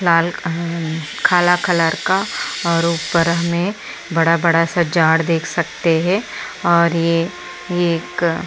लाल अम काला कलर का और उपर में बड़ा बड़ा सा झाड देख सकते है और ये ये एक --